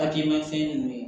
Hakilimafɛn nunnu